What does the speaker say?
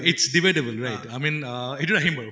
its debatable right i mean এইটোত আহিম বাৰু